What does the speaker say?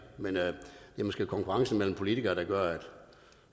men det er måske konkurrencen mellem politikerne der gør at